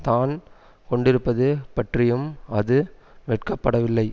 தான் கொண்டிருப்பது பற்றியும் அது வெட்கப்படவில்லை